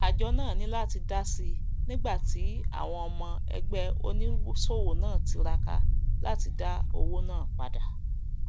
ájo náà ní láti dásì nígbàtí àwon ọmọ ẹgbé onísòwò náà tiraka láti dá owó náà padà